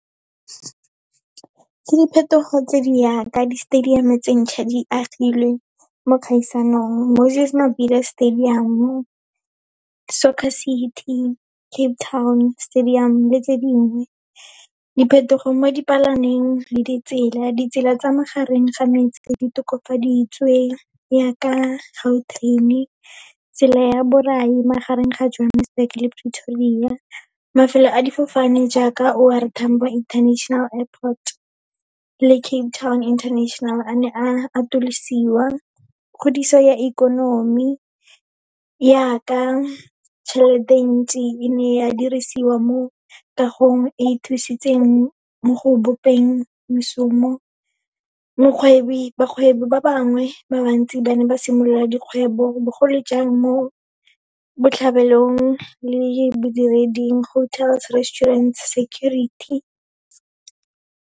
Ke diphetogo tse di jaaka di-stadium-o tse ntšha di agilwe mo dikgaisanong, Moses Mabida Stadium, Soccer City, Cape Town Stadium le tse dingwe. Diphetogo mo dipalameng le ditsela, ditsela tsa magareng ga metse di tokafaditswe, yaaka Gautrain-e, tsela ya borai magareng ga Johannesburg le Pretoria. Mafelo a difofane jaaka O R Tambo International Airport le Cape Town International, a ne a atolosiwa. Kgodiso ya ikonomi, yaaka tjhelete e ntsi e ne ya dirisiwa mo kagong e thusitseng mešomo. Bagwebi ba bangwe ba bantsi, ba ne ba simolola dikgwebo bogolojang mo botlhabelong le bodireding, hotels, restaurants, security.